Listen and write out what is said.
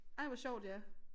Ej hvor sjovt ja